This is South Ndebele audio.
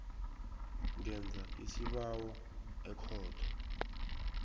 ngenza isibawo ekhotho